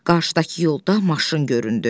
Qarşıdakı yolda maşın göründü.